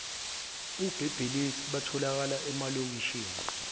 ubelelesi butholakala emalokishini